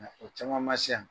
O caman ma se yan